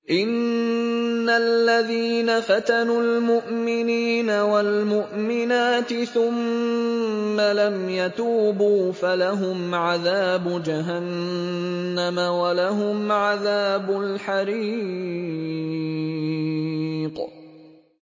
إِنَّ الَّذِينَ فَتَنُوا الْمُؤْمِنِينَ وَالْمُؤْمِنَاتِ ثُمَّ لَمْ يَتُوبُوا فَلَهُمْ عَذَابُ جَهَنَّمَ وَلَهُمْ عَذَابُ الْحَرِيقِ